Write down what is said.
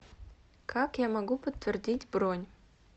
как я могу подтвердить бронь